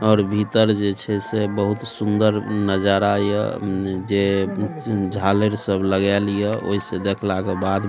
और भीतर जे छै से बहुत सुन्दर नजारा ये उम्म जे झालर सब लगेएल ये ओय से देखला के बाद --